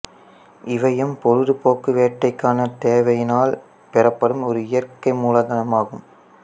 இவையும் பொழுது போக்கு வேட்டைக்கான தேவையினால் பெறப்படும் ஒரு இயற்கை மூலதனமாகும்